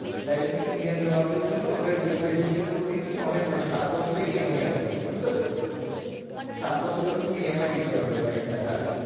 এর জন্যে Indian গ্রাহকদের জন্যে ওটার EMI system করে দিয়েছে কি অনেক মানে সাত বছরের EMI ache ঐটার বুঝলে তো। সাত বছরের ধরে তুমি EMI দিতে পারবে bike টা হ্যাঁ